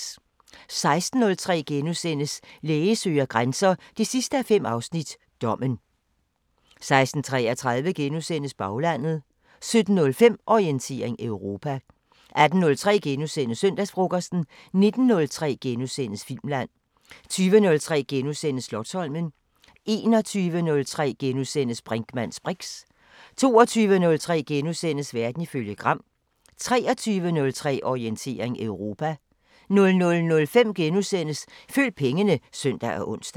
16:03: Læge søger grænser 5:5 – Dommen * 16:33: Baglandet * 17:05: Orientering Europa 18:03: Søndagsfrokosten * 19:03: Filmland * 20:03: Slotsholmen * 21:03: Brinkmanns briks * 22:03: Verden ifølge Gram * 23:03: Orientering Europa 00:05: Følg pengene *(søn og ons)